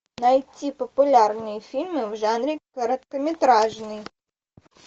найти популярные фильмы в жанре короткометражный